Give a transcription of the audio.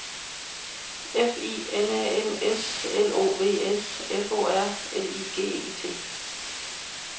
F I N A N S L O V S F O R L I G E T